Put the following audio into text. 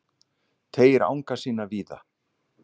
Teygir anga sína víða